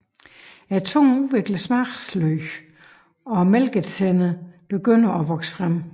Tungen udvikler smagsløg og mælketænderne begynder at vokse frem